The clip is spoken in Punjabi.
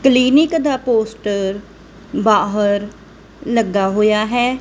ਕਲੀਨਿਕ ਦਾ ਪੋਸਟਰ ਬਾਹਰ ਲੱਗਾ ਹੋਇਆ ਹੈ।